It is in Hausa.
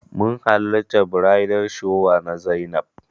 Mun hallarta bridal shower na Zainab.